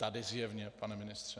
Tady zjevně, pane ministře.